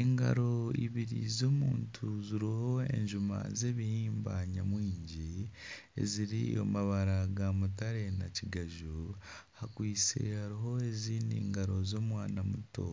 Engaro ibiri z'omuntu ziriho enjuma zebihimba nyamwingi eziri omu mabara ga mutare na kigaju hakwaitse hariho ezindi ngaro z'omwana muto